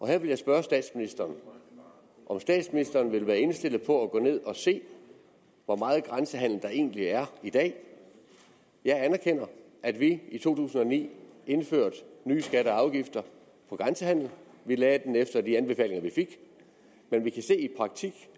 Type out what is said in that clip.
her vil jeg spørge statsministeren om statsministeren vil være indstillet på at tage ned og se hvor meget grænsehandel der egentlig er i dag jeg anerkender at vi i to tusind og ni indførte nye skatter og afgifter på grænsehandel vi lagde dem efter de anbefalinger vi fik men vi kan se